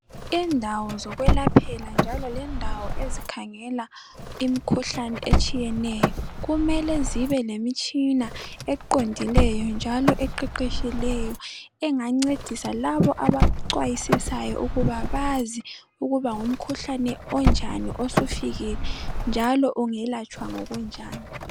Indawo zokwelaphela njalo lendawo ezikhangela imikhuhlane etshiyeneyo kumele zibe lemitshina eqondileyo njalo eqeqetshileyo engancedisa laba abaxwayisisayo ukuba bazi ukuba ngumkhuhlane onjani osufikile njalo ungelatshwa ngokunjani.